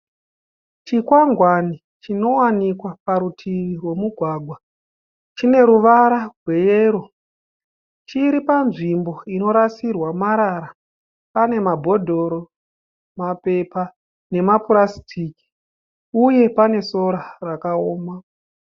Chikwangwani chinowanikwa parutivi rwomugwagwa. Chine ruvara rweyero. Chiri panzvimbo inorasirwa marara. Pane mabhodhoro, mapepa nemapurasitiki uye pane sora rakaoma.